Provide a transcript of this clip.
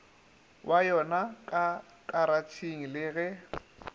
wa yonaka karatšheng le ge